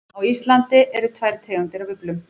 Á Íslandi eru tvær tegundir af uglum.